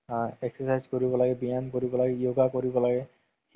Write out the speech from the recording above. উম । এই mobile তে ত্ৰেল trailer কেইটা চাই চাই তু